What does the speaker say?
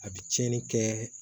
A bɛ tiɲɛni kɛ